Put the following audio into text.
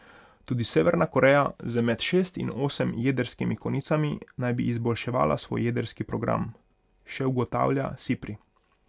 Tudi Severna Koreja z med šest in osem jedrskimi konicami naj bi izboljševala svoj jedrski program, še ugotavlja Sipri.